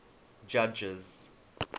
judges